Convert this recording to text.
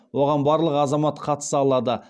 оған барлық азамат қатыса алады